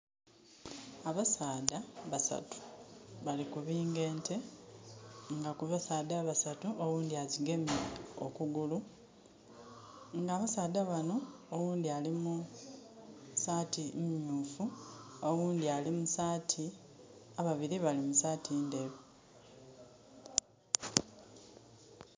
Abasaadha basatu bali kubinga ente, nga ku basaadha abasatu oghundhi agyigemye okugulu. Nga abasaadha bano oghundhi ali mu saati myuufu, oghundhi ali mu saati...ababiri bali mu saati ndheru